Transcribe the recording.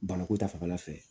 Bana ko ta fanfɛla fɛ